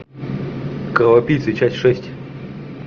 кровопийцы часть шесть